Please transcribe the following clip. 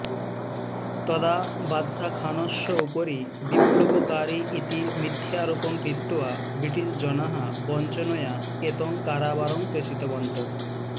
तदा बादशाहखानस्य उपरि विप्लवकारी इति मिथ्यारोपं कृत्वा ब्रिटिष् जनाः वञ्चनया एतं कारावारं प्रेषितवन्तः